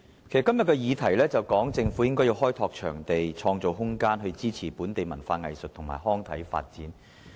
今天的議題是說，政府應該開拓場地，創造空間，支持本地文化藝術及康體發展。